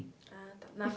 Ah, tá. Na